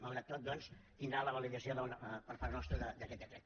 malgrat tot doncs tindrà la validació per part nostra d’aquest decret